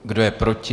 Kdo je proti?